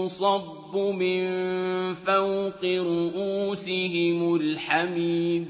يُصَبُّ مِن فَوْقِ رُءُوسِهِمُ الْحَمِيمُ